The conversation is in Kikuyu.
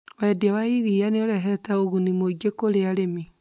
Wendia wa iria nĩ ũrehete ũguni mũingĩ kũrĩ arĩmi.